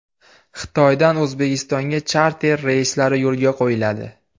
Xitoydan O‘zbekistonga charter reyslari yo‘lga qo‘yiladi.